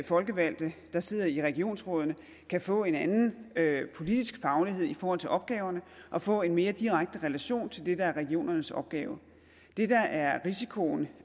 folkevalgte der sidder i regionsrådene kan få en anden politisk faglighed i forhold til opgaverne og få en mere direkte relation til det der er regionernes opgave det der er risikoen